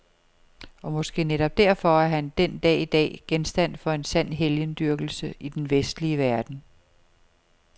Og måske netop derfor er han den dag i dag genstand for en sand helgendyrkelse i den vestlige verden.